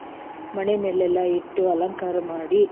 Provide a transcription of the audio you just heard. ಮನೆ ಮೇಲೆಲ್ಲಾ ಇಟ್ಟು ಅಲಂಕಾರ ಮಾಡಿ,